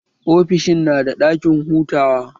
Ofishin nada ɗakin hutawa?